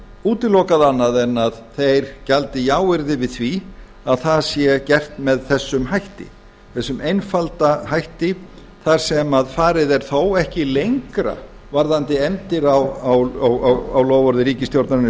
útilokað annað en að þeir gjaldi jáyrði við því að það sé gert með þessum hætti með þessum einfalda hætti þar sem farið er þó ekki lengra varðandi efndir á loforði ríkisstjórnarinnar í